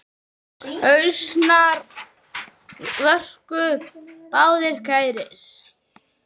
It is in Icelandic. Hnausar voru okkur báðum kærir.